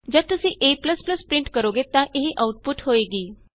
ਜਦ ਤੁਸੀਂ a print ਕਰੋਗੇ ਤਾਂ ਇਹ ਆਉਟਪੁਟ ਹੋਏਗੀ